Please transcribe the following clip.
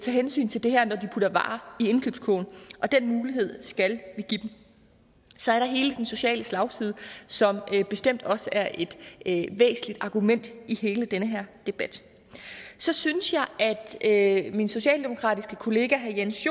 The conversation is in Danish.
hensyn til det her når de putter varer i indkøbskurven og den mulighed skal vi give dem så er der hele den sociale slagside som bestemt også er et væsentligt argument i hele den her debat så synes jeg at min socialdemokratiske kollega herre jens